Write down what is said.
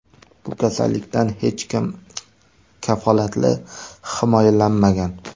Bu kasallikdan hech kim kafolatli himoyalanmagan.